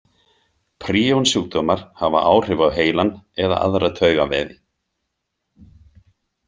Príonsjúkdómar hafa áhrif á heilann eða aðra taugavefi.